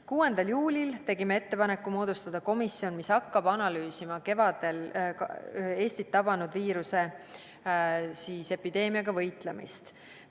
6. juulil tegime ettepaneku moodustada komisjon, mis hakkab analüüsima kevadel Eestit tabanud viiruse epideemiaga võitlemist.